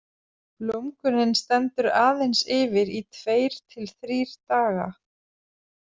Blómgunin stendur aðeins yfir í tveir til þrír daga.